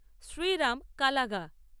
Shriram কালাগা